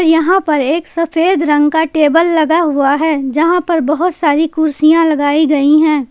यहां पर एक सफेद रंग का टेबल लगा हुआ है जहां पर बहोत सारी कुर्सियां लगाई गई हैं।